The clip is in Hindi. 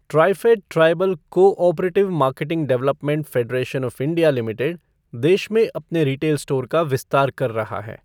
TRIFED tribal cooperative marketing development federation of India limited देश में अपने रिटेल स्टोर का विस्तार कर रहा है।